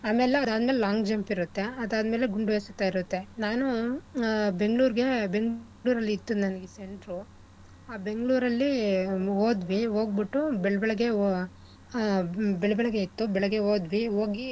ಆಮೇಲೆ ಅದ್ ಮೇಲೆ long jump ಇರತ್ತೆ ಆದ್ ಮೇಲೆ ಗುಂಡು ಎಸೆತ ಇರತ್ತೆ. ನಾನು ಆ Bangalore ರ್ಗೆ Bangalore ಅಲ್ ಇತ್ತು ನಂಗೆ centre ಉ ಆ Bangalore ಲ್ಲಿ ಹೋದ್ವಿ ಹೋಗ್ಬಿಟ್ಟು ಬೆಳ್~ ಬೆಳಿಗ್ಗೆ ಆ ಬೆಳ್~ ಬೆಳಿಗ್ಗೆ ಇತ್ತು ಬೆಳಿಗ್ಗೆ ಹೋದ್ವಿ ಹೋಗಿ,